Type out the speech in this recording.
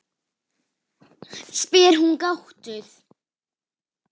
spyr hún gáttuð.